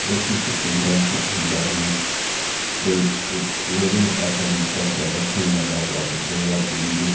एह किसी पंडल के अंदर में कोई इ लेडी आइटम का प्रदर्शन लगा हुआ दिख रही है या बिंदी--